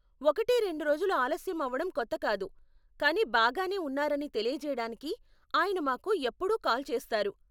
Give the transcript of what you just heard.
ఒకటి రెండు రోజులు ఆలస్యం అవడం కొత్త కాదు, కానీ బాగానే ఉన్నారని తెలియజేయడానికి ఆయన మాకు ఎప్పుడూ కాల్ చేస్తారు.